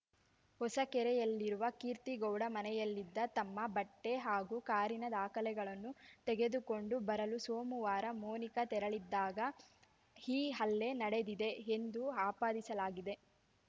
ಹೊಸಕೆರೆಯಲ್ಲಿರುವ ಕೀರ್ತಿಗೌಡ ಮನೆಯಲ್ಲಿದ್ದ ತಮ್ಮ ಬಟ್ಟೆಹಾಗೂ ಕಾರಿನ ದಾಖಲೆಗಳನ್ನು ತೆಗೆದುಕೊಂಡು ಬರಲು ಸೋಮವಾರ ಮೊನಿಕಾ ತೆರಳಿದ್ದಾಗ ಈ ಹಲ್ಲೆ ನಡೆದಿದೆ ಎಂದು ಆಪಾದಿಸಲಾಗಿದೆ